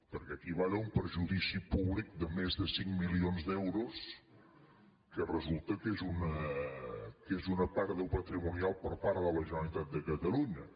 perquè aquí hi va haver un perjudici públic de més de cinc milions d’euros que resulta que és una pèrdua patrimonial per part de la generalitat de catalunya